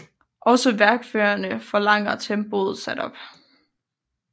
Også værkføreren forlanger tempoet sat op